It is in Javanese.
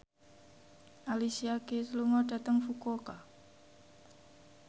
Alicia Keys lunga dhateng Fukuoka